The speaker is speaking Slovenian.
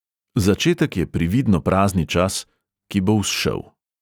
Začetek je prividno prazni čas, "ki bo vzšel".